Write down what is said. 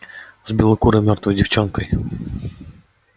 с белокурой мёртвой девчонкой